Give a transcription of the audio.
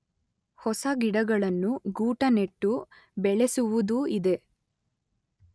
ಹೊಸ ಗಿಡಗಳನ್ನು ಗೂಟನೆಟ್ಟು ಬೆಳೆಸುವುದೂ ಇದೆ.